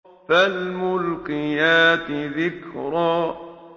فَالْمُلْقِيَاتِ ذِكْرًا